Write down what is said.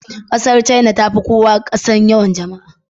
ƙasar china ta fi kowace ƙasa yawan jama'a.